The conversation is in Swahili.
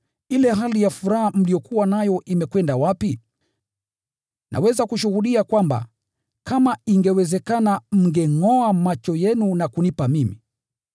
Ile hali ya furaha mliyokuwa nayo imekwenda wapi? Naweza kushuhudia kwamba, kama ingewezekana mngengʼoa macho yenu na kunipa mimi.